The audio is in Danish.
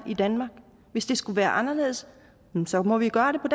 i danmark og hvis det skal være anderledes så må vi gøre det på